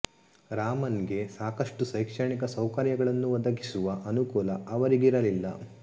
ರಾಮನ್ ಗೆ ಸಾಕಷ್ಟು ಶೈಕ್ಷಣಿಕ ಸೌಕರ್ಯಗಳನ್ನು ಒದಗಿಸುವ ಅನುಕೂಲ ಅವರಿಗಿರಲಿಲ್ಲ